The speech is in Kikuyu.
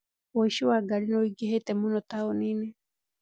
ũici wa ngari nĩũingĩhĩte mũno taũninĩ